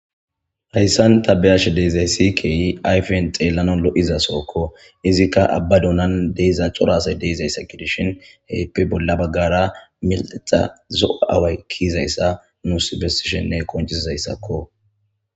Hayssan ta be'ashe de'izaysi kehi ayfen xallanawu lo'iza sohokko iizikka abba duunan de'iza cora asay dizayssa giidishin heppe bolla baggara zo'o away ki'izayssa nuus qonccisizaysako.